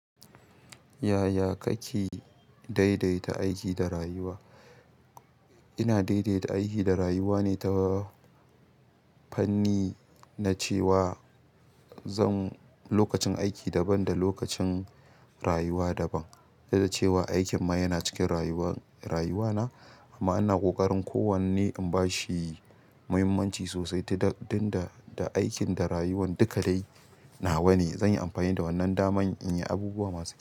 Yaya kake daidaita aiki da rayuwa? Ina daidaita aiki da rayuwa ne ta fanni na cewa zan. Lokacin aiki daban da lokacin rayuwa daban. Don da cewa aikin ma yana cikin rayuwa, rayuwana amma ina ƙoƙarin kowanne in bashi muhimmanci sosai tun da, da aikin da rayuwan duka dai nawa ne. Zan yi amfani da wannan daman in yi abubuwa masu kyau.